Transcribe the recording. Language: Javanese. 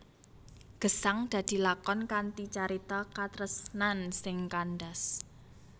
Gesang dadi lakon kanthi carita katresnan sing kandhas